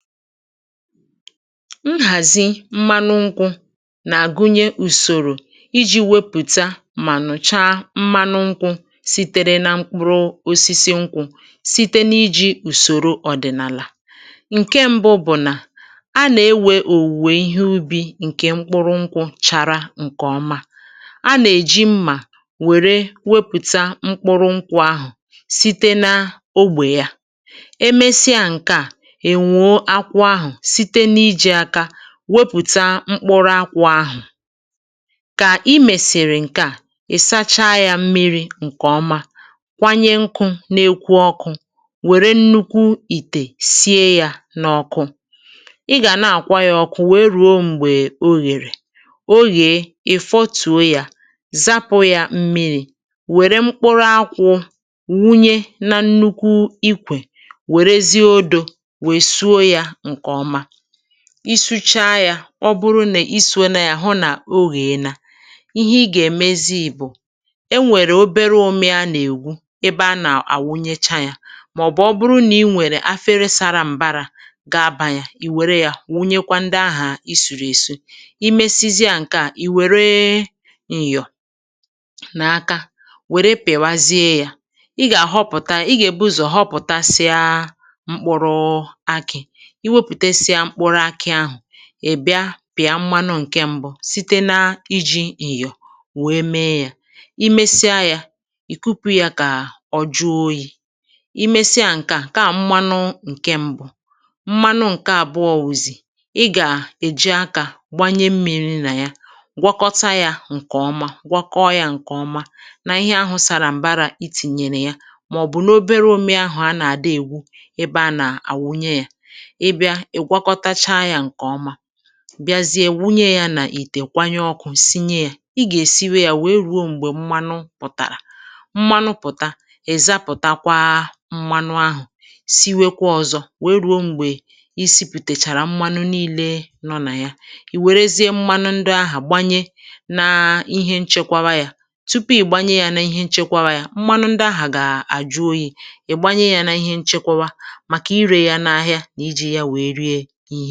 Nhàzi mmanụ nkwụ̇ nà-àgụnye ùsòrò iji̇ wepụ̀ta mà nụ̀chaa mmanụ nkwụ̇ sitėre nȧ mkpụrụ osisi nkwụ̇ site n’iji̇ ùsòro ọ̀dị̀nàlà. Nke mbụ bụ̀ nà a nà-ewè òwùwè ihe ubi̇ ǹkè mkpụrụ nkwụ̇ chara ǹkè ọma, a nà-èji mmà wère wepụ̀ta mkpụrụ nkwụ̇ ahụ̀ site na ogbè ya. E mesịanke a, e nwoo akwụ ahụ site na-iji aka wepùta mkpụrụ akwụ̇ ahụ̀. Kà i mèsịrị ǹke à, ị̀ sachaa yȧ mmiri̇ ǹkè oma, kwanyė nkụ̇ na-ekwu ọkụ̇, wère nnukwu ìtè sie yȧ n’ọ̇kụ̇. Ị gà nà-àkwa yȧ ọ̀kụ̀ wèe ruo m̀gbè o yèrè. O yeė, ị̀ fọtuo yȧ, zapụ̇ yȧ mmiri̇, wère mkpụrụ akwụ̇ wụnye na nnukwu ikwè, werezie odo suo ya nke ọma. I suchaa ya, ọ bụrụ na isuola ya hụ na o yeela, ihe ị gà-èmezi bụ̀ e nwèrè obere ụmị a nà-ègwu ebe a nà-àwụnyecha yȧ màọ̀bụ̀ ọ bụrụ nà ị nwèrè afere sara m̀bara ga-abȧ ya, i wère yȧ wụnyekwa ndị ahà i sùrù èsu, I mesizia ǹke à, ì wère nyọ̀ na aka wère pị̀wazie yȧ. Ị gà-àhọpụ̀ta ị gà-èbu ụzọ̀ họpụ̀tasịa mkpụrụakị. Ị wepụtesịa mkpụrụakị, ị bịa pịa mmanụ ǹke m̀bụ site na-iji nyọ̀ wèe mee yȧ. I mesia yȧ, ì kupu yȧ kà ọ jụọ oyi. Ị mesịa ǹke à, nke à mmanụ ǹke mbụ. Mmanụ ǹke àbụọ wụzi, ị gà èji akȧ gbanye mmi̇ri̇ nà ya gwọkọta yȧ ǹkè ọma, gwọkọọ yȧ ǹkè ọma nà ihe ahụ̇ sàrà m̀bara itìnyèrè ya na ya màọ̀bụ̀ n’obere ụmị ahụ̀ a nà-àda ègwu ebe a nà àwụnye yȧ, ị bịa ị gwakọtacha ya nke ọma, bịazie wụnye yȧ n'itè kwanye ọkụ̇. Ị gà-èsiwe yȧ wèe ruo m̀gbè mmanụ pụ̀tàrà. Mmanụ pụ̀ta, ị̀ zapụ̀takwa mmanụ ahụ̀, siwekwa ọzọ wèe ruo m̀gbè isi̇putèchàrà mmanụ nii̇le nọ nà ya, ì wèrezie mmanụ ndị ahụ̀ gbanye na ihe nchekwawa yȧ. Tupu ị̀ gbanye yȧ nà ihe nchekwawa yȧ, mmanụ ndị ahụ̀ gà-àjụ oyi̇, ị gbanye yȧ nà ihe nchekwawa maka ire ya n'ahịa maọbụ iji ya wee rie ihe.